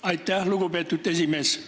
Aitäh, lugupeetud esimees!